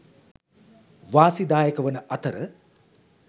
වාසිදායක වන අතර